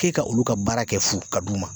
K'e ka olu ka baara kɛ fu ka d'u ma